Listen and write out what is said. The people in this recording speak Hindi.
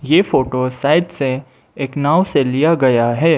ये फोटो साइड से एक नाव से लिया गया है।